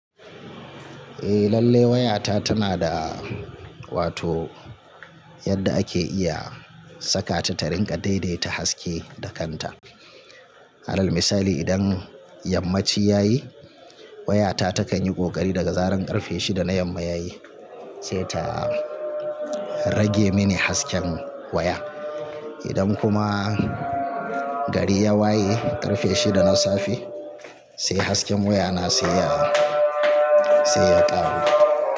Eh lalle wayata tana da, wato yadda ake iya saka ta ta rinƙa daidaita haske da kanta. Ara misali idan yammaci yayi, wayata takanyi ƙoƙari daga zaren ƙarfe shida na yamma yayi sai ta rage mini hasken waya. Idan kuma gari ya waye ƙarfe shida na safe sai hasken waya na sai ya, sai ya ƙaru.